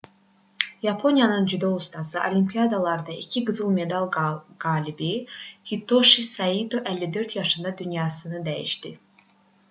yaponiyanın judo ustası olimiyadalarda iki qızıl medal qalibi hitoşi saito 54 yaşında dünyasını dəyişdi